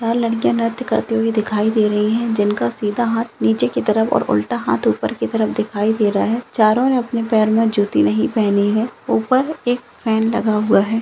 लड़कियां नहाती करती हुई दिखाई दे रही है जिनका सीधा हाथ नीचे की तरफ और उल्टा हाथ ऊपर की तरफ दिखाई दे रहा है चारों ने अपने पैर में जुटी नहीं पहनी है ऊपर एक फैन लगा हुआ है|